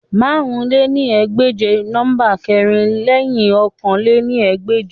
Màrún lé ní ẹgbẹ́je jẹ nọmba kẹrin lẹhin ọ̀kan lé ní ẹgbẹ́je